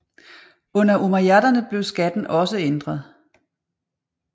Under umayyaderne blev skatten også ændret